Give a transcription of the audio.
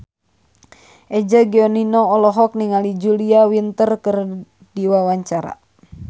Eza Gionino olohok ningali Julia Winter keur diwawancara